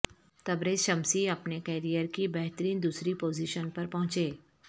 Tabrez Shamsi اپنے career کی بہترین دوسری پوزیشن پر پہنچے